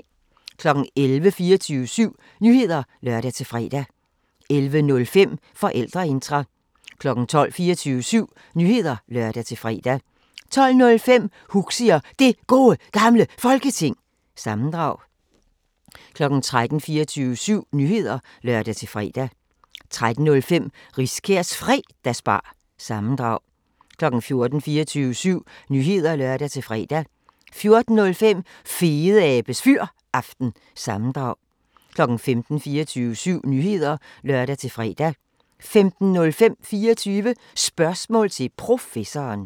11:00: 24syv Nyheder (lør-fre) 11:05: Forældreintra 12:00: 24syv Nyheder (lør-fre) 12:05: Huxi og Det Gode Gamle Folketing – sammendrag 13:00: 24syv Nyheder (lør-fre) 13:05: Riskærs Fredagsbar- sammendrag 14:00: 24syv Nyheder (lør-fre) 14:05: Fedeabes Fyraften – sammendrag 15:00: 24syv Nyheder (lør-fre) 15:05: 24 Spørgsmål til Professoren